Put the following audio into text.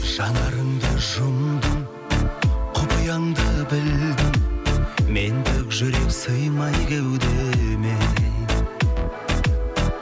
жанарыңды жұмдың құпияңды білдім мендік жүрек сыймай кеудеме